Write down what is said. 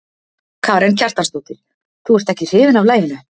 Karen Kjartansdóttir: Þú ert ekki hrifinn af laginu?